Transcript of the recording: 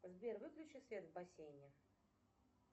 сбер выключи свет в бассейне